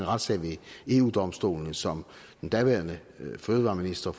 retssag ved eu domstolen som daværende fødevareminister